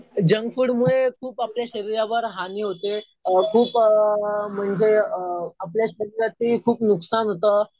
Junk food मुळे खूप आपल्या शरीरावर हानि होते. खूप म्हणजे आपल्या शरीराचं खूप नुकसान होतं.